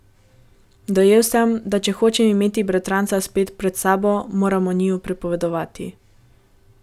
Dojel sem, da če hočem imeti bratranca spet pred sabo, moram o njiju pripovedovati.